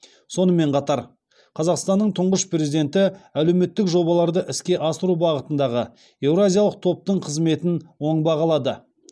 сонымен қатар қазақстанның тұңғыш президенті әлеуметтік жобаларды іске асыру бағытындағы еуразиялық топтың қызметін оң бағалады